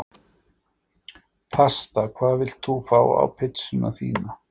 Pasta Hvað vilt þú fá á pizzuna þína?